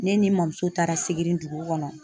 Ne ni n mɔmuso taara sigiri dugu kɔnɔ.